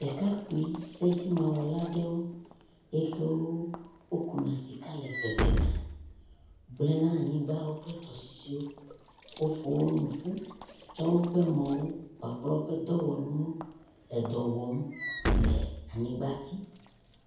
Ɖekakpui sedzimawɔla aɖewo. Ame siwo ku na sika le bebe mia gblẽ naanyigba kple tɔsisiwo, woƒo wo nu ƒu tsɔ mɔ wo kpakple woƒe dɔwɔnuwo le edɔ wɔm le anyigba dzi